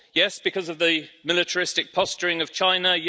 Yes, because of the militaristic posturing of China